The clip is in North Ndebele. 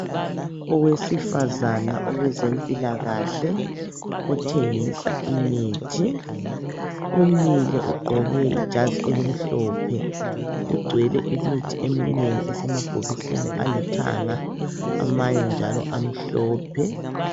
Owesifazana owezempilakahle othengisa imithi ,umile ugqoke ijazi elimhlophe kugcwele imithi eminengi esemabhokisini alithanga amanye njalo amhlophe.